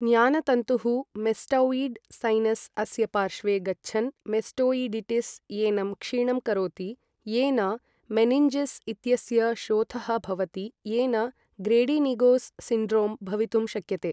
ज्ञानतन्तुः mastoid sinus अस्य पार्श्वे गच्छन् मेस्टौइडिटिस् एनं क्षीणं करोति, येन मेनिन्जीस् इत्यस्य शोथः भवति, येन ग्रेडिनिगोस् सिन्ड्रोम् भवितुं शक्यते।